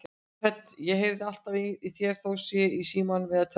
Hödd: Og heyrir hann alltaf í þér þó hann sé í símanum eða tölvunni?